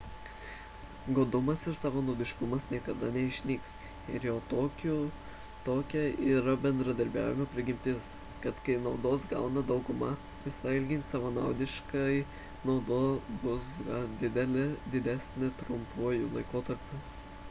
godumas ir savanaudiškumas niekada neišnyks ir jau tokia yra bendradarbiavimo prigimtis kad kai naudos gauna dauguma visada elgiantis savanaudiškai nauda bus didesnė trumpuoju laikotarpiu